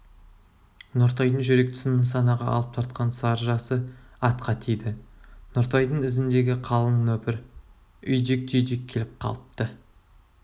нұртайдың жүрек тұсын нысанаға алып тартқан сарыжасы атқа тиді нұртайдың ізіндегі қалың нөпір үйдек-түйдек келіп қалыпты